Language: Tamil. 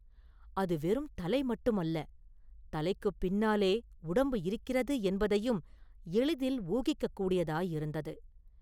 அது வெறும் தலை மட்டுமல்ல, தலைக்குப் பின்னாலே உடம்பு இருக்கிறது என்பதையும் எளிதில் ஊகிக்கக்கூடியதாயிருந்தது.